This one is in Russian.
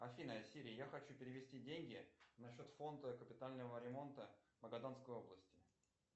афина сири я хочу перевести деньги на счет фонда капитального ремонта магаданской области